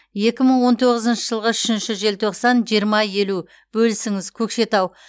екі мың он тоғызыншы жылғы үшінші желтоқсан жиырма елу бөлісіңіз көкшетау